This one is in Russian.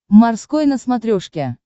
морской на смотрешке